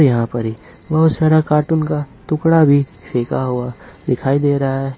यहाँ पर ही बहुत सारा कार्टून का टुकड़ा भी फेंका हुआ दिखाई दे रहा है ।